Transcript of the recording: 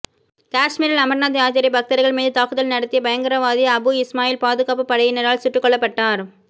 காஷ்மீரில் அமர்நாத் யாத்திரை பக்தர்கள் மீது தாக்குதல் நடத்திய பயங்கரவாதி அபு இஸ்மாயில் பாதுகாப்புப்படையினரால் சுட்டுக்கொல்லப்பட்டார்